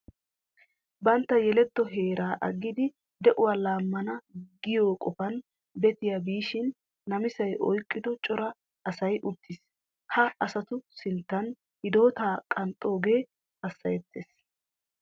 Bantta yeletto heeraa aggidi de'uwa laammana giyo qofan betiya biishin namisay oyqqido cora asay uttiis. Ha asatu sinttan hidootaa qanxxoogee hassayettes.